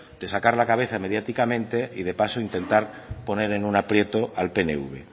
de sacar la cabeza mediáticamente y de paso intentar poner en un aprieto al pnv